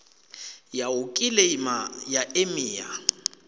ya u kiḽeima ya emia